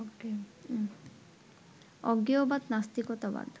অজ্ঞেয়বাদ, নাস্তিকতাবাদ